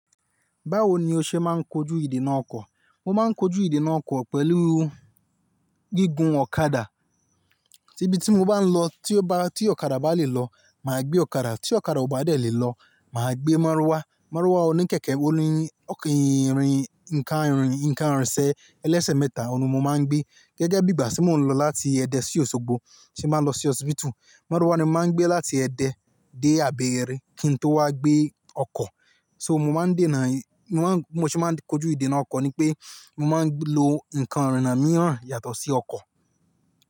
Báwo ni o ṣe máa ń kọjú ìdènà ọkọ̀? Mo máa ń kọjú ìdènà ọkọ̀ pẹ̀lú gígùn ọ̀kadà. Tibi tí mo bá ń lọ tí ó bá ti ọ̀kadà bá lè lọ, màá gbé ọ̀kadà, tí ọ̀kadà kò bá lè lọ, màá gbé márúwá. Márúwá oníkẹ̀kẹ́, ó ní oke ìrìn, nǹkan ìrìn, nǹkan ìrìnsẹ̀, ẹlẹ́sẹ̀ mẹ́ta, òun ni mo máa ń gbé. Gẹ́gẹ́ bí gbà tí mò ń lọ láti Ẹdẹ sí Òṣogbo, tí n bàá lọ sí osíbítù, márúwá ni mo máa ń gbé láti Ẹdẹ dé Abẹ́ẹ́rẹ̀ kí n tó wá gbé ọkọ̀. So mo máa ń dé náà i mo ma ń, bí mo ṣe máa ń kọjú ìdènà ọkọ̀ ni pé mo máa ń lo nǹkan ìrìnnà mìíràn yàtọ̀ sí ọkọ̀.